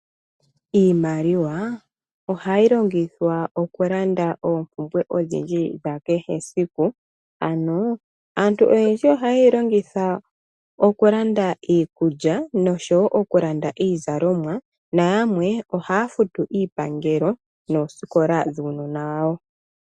Iimaliwa ohayi longithwa okulanda oompumbwe dhakehe esiku. Ano aantu oyendji ohaye yi longitha okulanda iikulya nosho okulanda iizalomwa nayamwe ohaya futu iipangelo noosikola dhuunona wawo.